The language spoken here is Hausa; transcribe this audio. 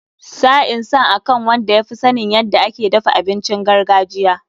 Sa'in san akan wadda ya fi sanin yadda ake dafa abincin gargajiya.